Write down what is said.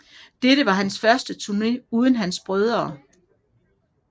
Dette var hans første turne uden hans brødre